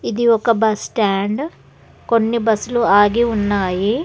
ఇది ఒక బస్టాండ్ కొన్ని బస్సులు ఆగి ఉన్నాయి.